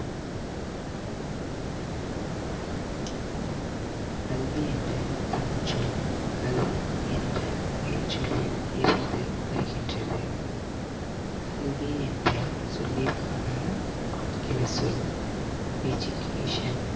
கல்வி என்ற தமிழ்ச்சொல் கல்வி என்ற உயிர் சொல்லில் இருந்து வருகின்றது கல்வி என்ற சொல்லிற்கான ஆங்கில சொல் education